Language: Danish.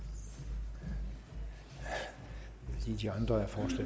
af og